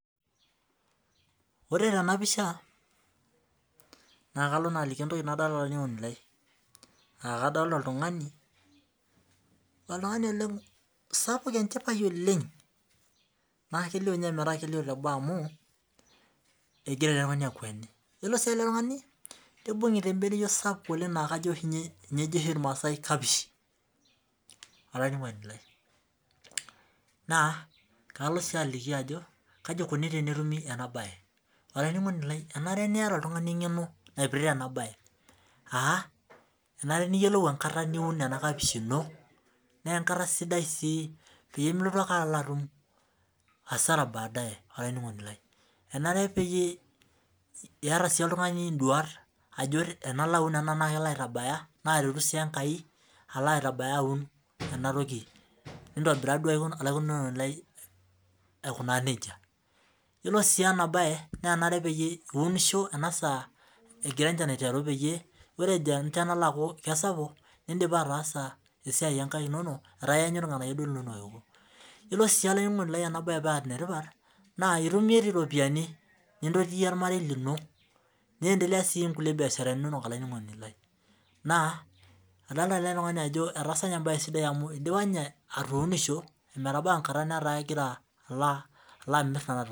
Ore tenapisha na kalo aliki entokibnadolita olaininingoni lai kadolita oltungani ele sapuk enchipae oleng ma kelio ometaa kelio teboo amu egira eletungani akweni nibungita embeneyio sapuk oleng na ninye ejo irmaasai kapishi olaininingoni lai na kalo si aliki kai ikuni petumi enabae enare peeta Oltunganiengeno naipirta enabae aa enare niyolou enkara niun ena kapishi inobpimilotubake atum asara naretu si enkai laitabaya aun nintobiraa duo aikunaa nejia ore si enabae iunisho eton egira enchan ajo aiteru ore pejo alo aiteru indipa esiai onkaik inonok metaa iyilo si olaininingoni lai enabae pa enetipat na itum iropiyiani nintotie ormarei lino niendelea si nkulie biasharani inonok olaininingoni lai idolta eletungani ajo idipa atuunisho ometaa kegira alo amir nona tokitin